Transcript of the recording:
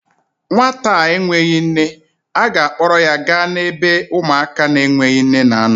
Nwata a enweghi nne, a ga-akpọrọ ya gaa n'ebe ụmụaka na-enweghi nne nọ